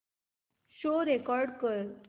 show record कर